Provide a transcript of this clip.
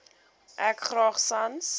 ek graag sans